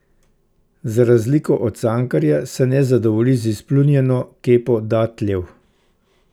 Za razliko od Cankarja se ne zadovolji z izpljunjeno kepo datljev.